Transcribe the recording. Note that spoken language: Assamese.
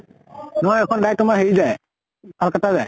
নোৱাৰে। এইখন direct তোমাৰ হেৰি যায়, কলকাত্তা